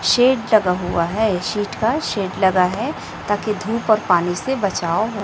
Shade लगा हुआ है शीट का शेड लगा है ताकि धूप और पानी से बचाव हो।